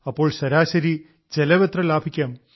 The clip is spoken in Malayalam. അപ്പോൾ ശരാശരി ചെലവ് എത്ര ലാഭിക്കാം